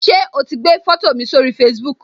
So ti gbé foto mi sórí Facebook